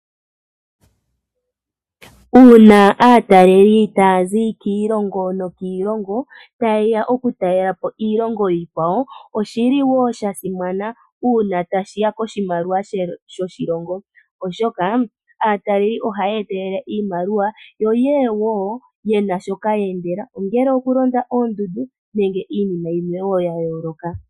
Uuna aataleli taya zi kiilongo nokiilongo tayeya okutalela po iilongo iikwawo Oshi li wo sha simana uuna tashiya koshimaliwa shoshilongo oshoka aataleleli oha yeetelele iimaliwa yo yeye wo ye na sho yeendela ongele okulonda oondundu nenge iinima yilwe wo ya yooloka.